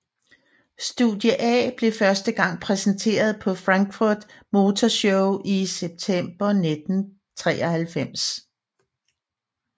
Studie A blev første gang præsenteret på Frankfurt Motor Show i september 1993